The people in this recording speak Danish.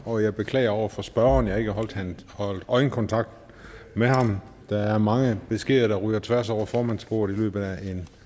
og jeg beklager over for spørgeren at jeg ikke holdt øjenkontakt med ham der er mange beskeder der ryger tværs over formandsbordet i løbet af